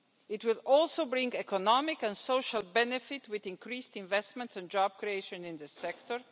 It will also bring economic and social benefits, with increased investment and job creation in this sector.